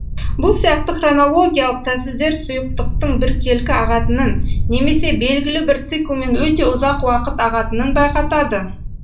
бұл сияқты хронологиялық тәсілдер сұйықтықтың біркелкі ағатынын немесе белгілі бір циклмен өте ұзақ уақыт ағатынын байқатады